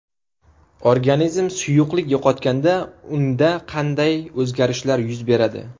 Organizm suyuqlik yo‘qotganda unda qanday o‘zgarishlar yuz beradi?